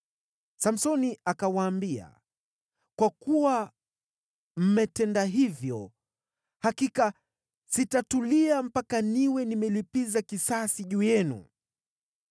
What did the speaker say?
Samsoni akawaambia, “Kwa kuwa mmetenda hivyo, hakika sitatulia mpaka niwe nimelipiza kisasi juu yenu.”